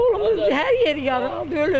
Oğlum hər yeri yaralı öldü.